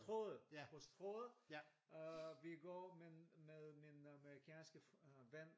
Strøget! På strøget øh vi går min med min amerikanske øh ven